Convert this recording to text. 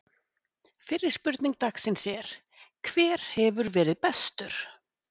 Fyrri spurning dagsins er: Hver hefur verið bestur?